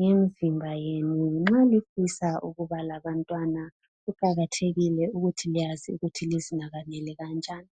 ngemzimba yenu nxa lifisa ukuba labantwana kuqakathekile ukuthi liyazi ukuthi lizinakekele kanjani.